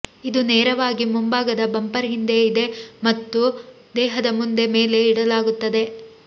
ಇದು ನೇರವಾಗಿ ಮುಂಭಾಗದ ಬಂಪರ್ ಹಿಂದೆ ಇದೆ ಮತ್ತು ದೇಹದ ಮುಂದೆ ಮೇಲೆ ಇಡಲಾಗುತ್ತದೆ